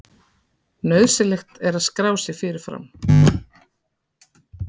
Nauðsynlegt er að skrá sig fyrirfram